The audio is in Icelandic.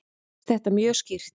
Mér finnst þetta mjög skýrt.